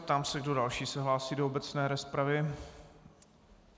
Ptám se, kdo další se hlásí do obecné rozpravy.